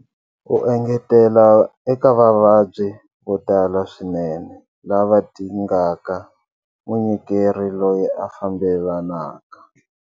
U engetela eka vavabyi vo tala swinene lava dingaka munyikeri loyi a fambelanaka.